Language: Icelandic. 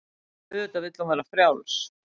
Auðvitað vill hún vera frjáls.